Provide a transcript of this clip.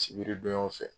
Sibiri donyaw fɛ